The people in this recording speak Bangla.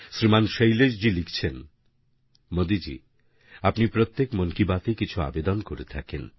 শ্রীমান শৈলেশজি লিখছেন মোদীজি আপনি প্রত্যেক মন কি বাতে কিছুআবেদনকরে থাকেন